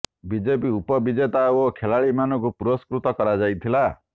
ବିଜେତା ଉପ ବିଜେତା ଓ ଖେଳାଳୀ ମାନଙ୍କୁ ପୁରସ୍କୃତ କରଯାଇଥିଲା